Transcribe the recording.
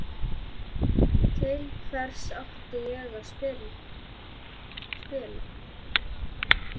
Til hvers er ég að spila?